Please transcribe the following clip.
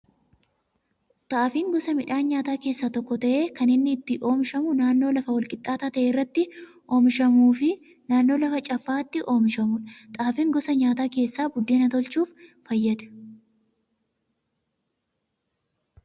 Xaafiin gosa midhaan nyaataa keessaa tokko ta'ee, kan inni itti oomishamu naannoo lafa wal qixxaataa ta'e irratti oomishamuu fi naannoo lafa caffaa'aatti oomishamudha. Xaafiin gosa nyaataa keessaa buddeena tolchuuf fayyada.